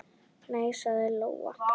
Nei, sagði Lóa.